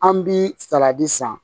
An bi saladi san